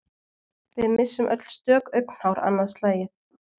Við missum öll stök augnhár annað slagið.